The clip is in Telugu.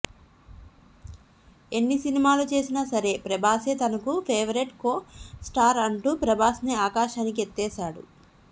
ఎన్ని సినిమాలు చేసినా సరే ప్రభాసే తనకు ఫేవరేట్ కో స్టార్ అంటూ ప్రభాస్ ని ఆకాశానికి ఎత్తేశాడు